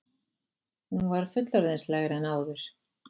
Hún var fullorðinslegri en áður.